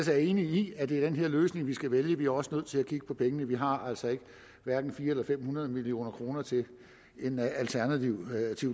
jeg enig i at det er den her løsning vi skal vælge vi er også nødt til at kigge på pengene vi har altså hverken fire hundrede eller fem hundrede million kroner til en alternativ